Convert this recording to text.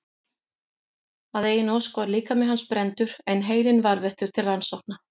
Að eigin ósk var líkami hans brenndur en heilinn varðveittur til rannsókna.